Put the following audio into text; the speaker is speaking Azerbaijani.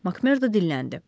Makmordu dilləndi.